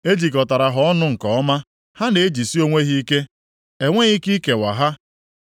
E jikọtara ha ọnụ nke ọma, ha na-ejisi onwe ha ike, enweghị ike ikewa ha.